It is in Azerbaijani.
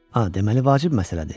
A, deməli vacib məsələdir.